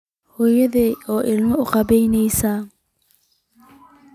Hooyada oo ilmada ka qubanaysa